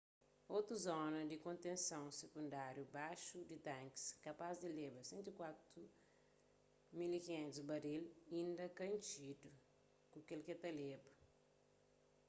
otu zona di kontenson sikundáriu baxu di tankis kapaz di leba 104.500 baril inda ka intxidu ku ke k-el ta leba